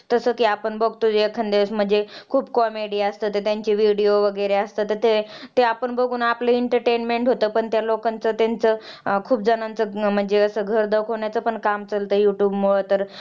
तसं कि आपण बघतो जे एखाद्यावेळेस मध्ये खुप comedy असते तर त्यांचे video वैगेरे असतात तर ते बघुन आपलं entertainment होतं पण त्या लोकांचं त्याचं खूपजणांचं म्हणजे घर असं दाखवण्याचा पण काम youtubr मुळे